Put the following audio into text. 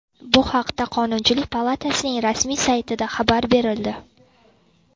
Bu haqda Qonunchilik palatasining rasmiy saytida xabar berildi .